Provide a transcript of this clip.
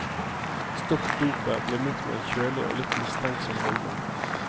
Stopp dopet ble møtt med en kjølig og litt mistenksom holdning.